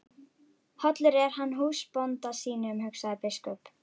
Hollur er hann húsbónda sínum, hugsaði biskup.